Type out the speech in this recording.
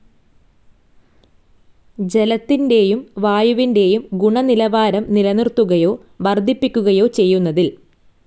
ജലത്തിന്റേയും വായുവിന്റേയും ഗുണനിലവാരം നിലനിർത്തുകയ്യോ വർധിപ്പിക്കുകയോ ചെയ്യുന്നതിൽ